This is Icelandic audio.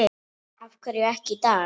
Af hverju ekki í dag?